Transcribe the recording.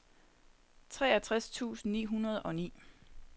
treogtres tusind ni hundrede og ni